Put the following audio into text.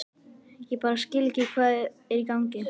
Ég bara skil ekki hvað er í gangi.